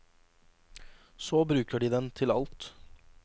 Så bruker de den til alt.